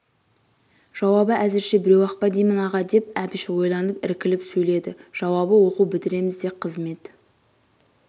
жауабы әзірше біреу-ақ па деймін аға деп әбіш ойланып іркіліп сөйледі жауабы оқу бітіреміз де қызмет